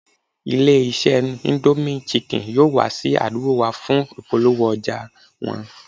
Ilé-iṣẹ́ indomie chicken yóò wá sí àdúgbò wa fún ìpolówó ọjà wọn